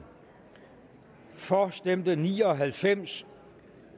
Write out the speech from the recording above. for stemte ni og halvfems